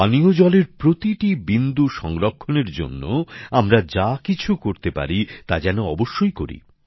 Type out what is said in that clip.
পানীয় জলের প্রতিটি বিন্দু সংরক্ষণের জন্য আমরা যা কিছু করতে পারি তা যেন অবশ্যই করি